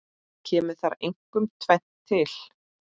Kemur þar einkum tvennt til.